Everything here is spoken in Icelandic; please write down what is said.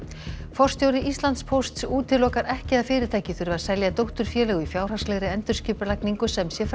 forstjóri Íslandspósts útilokar ekki að fyrirtækið þurfi að selja dótturfélög í fjárhagslegri endurskipulagningu sem sé